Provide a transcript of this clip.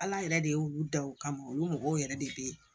Ala yɛrɛ de y'olu da o kama olu mɔgɔw yɛrɛ de be yen